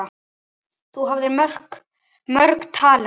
Þú hafðir mörg talent.